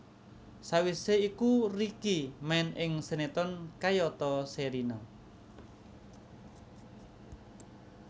Sawisé iku Ricky main ing sinetron kayata Sherina